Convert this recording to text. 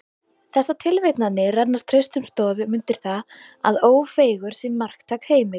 Þessar tilvitnanir renna traustum stoðum undir það, að Ófeigur sé marktæk heimild.